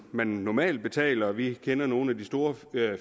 man normalt betaler vi kender nogle af de store